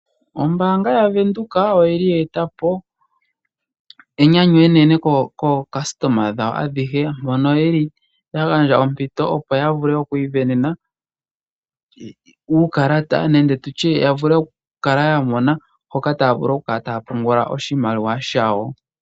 Ombaanga yaVenduka oyili ye eta po enyanyu enene kookasitoma dhawo adhihe mono yeli ya gandja ompito opo yi isindanene uukalata opo ya vule okukala ya mona hoka taa vulu okupungula oshimaliwa shawo.